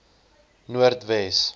noordwes